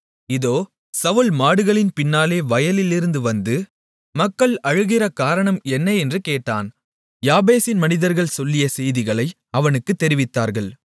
இதோ சவுல் மாடுகளின் பின்னாலே வயலிலிருந்து வந்து மக்கள் அழுகிற காரணம் என்ன என்று கேட்டான் யாபேசின் மனிதர்கள் சொல்லிய செய்திகளை அவனுக்குத் தெரிவித்தார்கள்